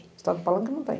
Estado falando que não tem.